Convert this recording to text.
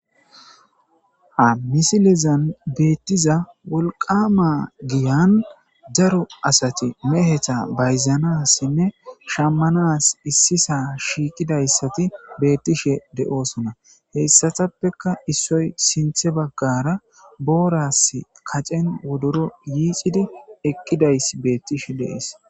ha misilezan beettiza wolqama giyan daro asati mehetha bayzanassinne shammanas issisa shiiqidayssati beettishe de7oosona heyssatappeka issoy sinthe baggara booras kacen wodoro yiicidi eqqidays beettishe de'ees